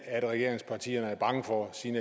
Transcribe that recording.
er regeringspartierne bange for siden